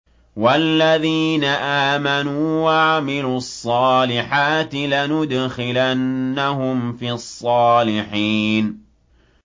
وَالَّذِينَ آمَنُوا وَعَمِلُوا الصَّالِحَاتِ لَنُدْخِلَنَّهُمْ فِي الصَّالِحِينَ